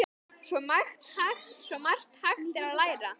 Svo margt hægt að gera.